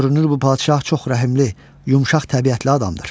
görünür bu padşah çox rəhimli, yumşaq təbiətli adamdır.